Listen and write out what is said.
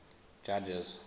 judges